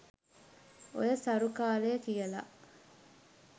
ඔය "සරු කාලය" කියල